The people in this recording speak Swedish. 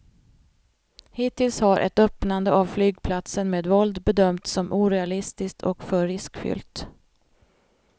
Hittills har ett öppnande av flygplatsen med våld bedömts som orealistiskt och för riskfyllt.